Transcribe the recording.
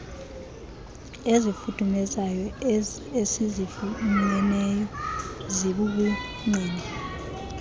ezifudumezayo esizifumeneyo zibubungqina